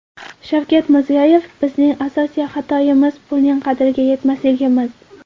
Shavkat Mirziyoyev: Bizning asosiy xatoimiz pulning qadriga yetmasligimiz!